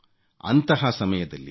ಅಂತಹ ಸಮಯದಲ್ಲಿ ಡಾ